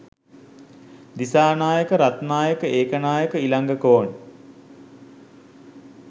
Dissanayake Ratnayake Ekanayake Ilangakoon